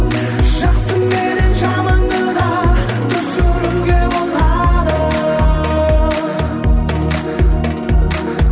жақсы менен жаманды да түсінуге болады